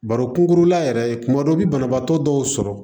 Baro kunkurunna yɛrɛ kuma dɔ i bi banabaatɔ dɔw sɔrɔ